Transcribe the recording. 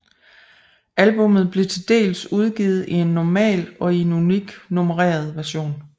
Albummet blev dels udgivet i en normal og i en unik nummereret version